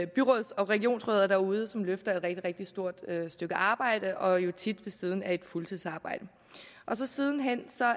byråds og regionsrødder derude som løfter et rigtig rigtig stort stykke arbejde arbejde tit ved siden af et fuldtidsarbejde siden hen